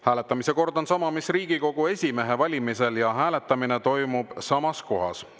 Hääletamise kord on sama, mis Riigikogu esimehe valimisel, ja hääletamine toimub samas kohas.